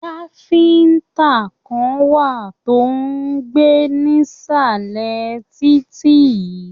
Káfíntà kàn wá tó n gbé nisalẹ títí yìí.